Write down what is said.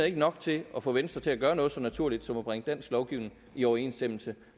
ikke nok til at få venstre til at gøre noget så naturligt som at bringe dansk lovgivning i overensstemmelse